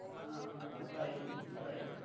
Waheguru Waheguru.